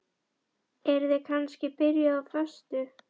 Eruð þið kannski byrjuð á föstu?